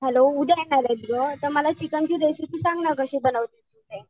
Hello, उद्या येणारेत ग तर मला चिकन ची रेसिपी सांग ना कशी बनवतात ते.